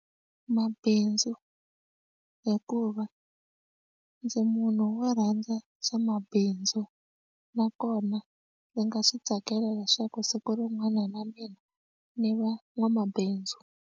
Mabindzu hikuva ndzi munhu wo rhandza swa mabindzu nakona ndzi nga swi tsakela leswaku siku rin'wana na mina ni va n'wamabindzu.